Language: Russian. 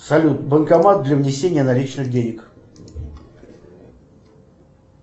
салют банкомат для внесения наличных денег